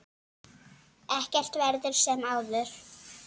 Ekkert verður sem áður.